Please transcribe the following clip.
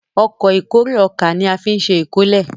Ọkọ̀ ìkórè ọkà ní afin ṣe ìkórè.